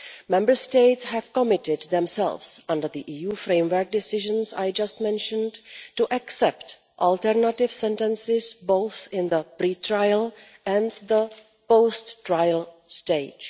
Member States have committed themselves under the EU Framework Decisions I just mentioned to accept alternative sentences, both in the pre-trial and the post trial stage.